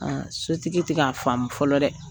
A sotigi ti k'a faamu fɔlɔ dɛ!